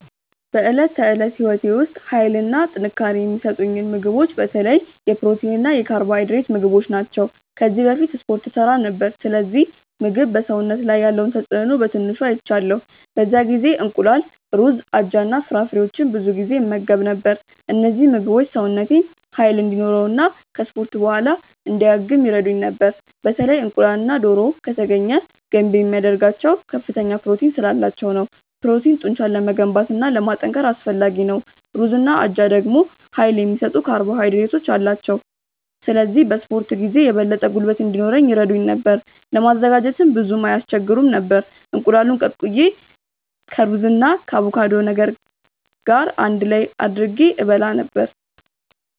በዕለት ተዕለት ሕይወቴ ውስጥ ኃይልና ጥንካሬ የሚሰጡኝን ምግቦች በተለይ የፕሮቲን እና የካርቦሃይድሬት ምግቦች ናቸው። ከዚህ በፊት እስፖርት እሠራ ነበር፣ ስለዚህ ምግብ በሰውነት ላይ ያለውን ተጽእኖ በትንሹ አይቻለሁ። በዚያ ጊዜ እንቁላል፣ ሩዝ፣ አጃ እና ፍራፍሬዎችን ብዙ ጊዜ እመገብ ነበር። እነዚህ ምግቦች ሰውነቴን ኃይል እንዲኖረው እና ከ እስፖርት በኋላ እንዲያገግም ይረዱኝ ነበር። በተለይ እንቁላልና ዶሮ( ከተገኘ ) ገንቢ የሚያደርጋቸው ከፍተኛ ፕሮቲን ስላላቸው ነው። ፕሮቲን ጡንቻን ለመገንባት እና ለማጠናከር አስፈላጊ ነው። ሩዝና አጃ ደግሞ ኃይል የሚሰጡ ካርቦሃይድሬቶች አሏቸው፣ ስለዚህ በ እስፖርት ጊዜ የበለጠ ጉልበት እንዲኖረኝ ይረዱኝ ነበር። ለማዘጋጀትም ብዙም አይስቸግሩም ነበር፤ እንቁላሉን ቀቅዬ ከሩዝ ጋር እና ከአቮካዶ ገር አንድ ላይ አድርጌ እበላ ነበረ።